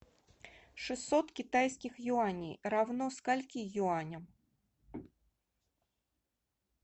шестьсот китайских юаней равно скольки юаням